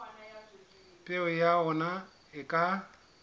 peo ya ona e ka